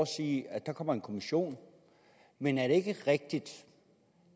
sige at der kommer en kommission men er det ikke rigtigt